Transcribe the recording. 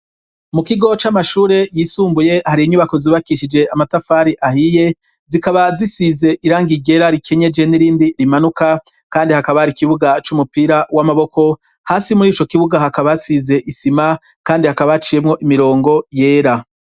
Mu kigo c'amashure yisumbuye, hari inyubako zubakishije amatafari ahiye, zikaba zisize irangi ryera rikenyeje n'irindi rimanuka kandi hakaba hari ikibuga c'umupira w'amaboko ,hasi muri ico kibuga hakaba hasize isima kandi hakaba haciyemwo imirongo yera.